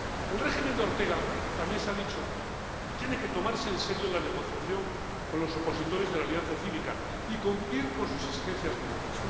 El régimen de Daniel Ortega —también se ha dicho— tiene que tomarse en serio la negociación con los opositores de la Alianza Cívica y cumplir sus exigencias mínimas.